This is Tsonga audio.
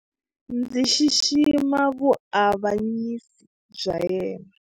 Ndzi xixima vuavanyisi bya yena.